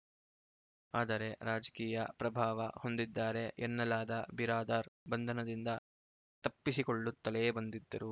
ಆದರೆ ರಾಜಕೀಯ ಪ್ರಭಾವ ಹೊಂದಿದ್ದಾರೆ ಎನ್ನಲಾದ ಬಿರಾದಾರ್‌ ಬಂಧನದಿಂದ ತಪ್ಪಿಸಿಕೊಳ್ಳುತ್ತಲೇ ಬಂದಿದ್ದರು